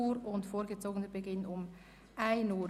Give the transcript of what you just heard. Einführung einer Praxisbewilligung im Kanton Bern»)